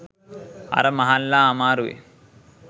අර මහල්ලා අමාරුවෙන්